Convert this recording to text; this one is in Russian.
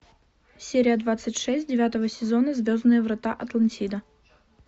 серия двадцать шесть девятого сезона звездные врата атлантида